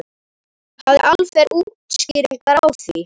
Hafði Alfreð útskýringar á því?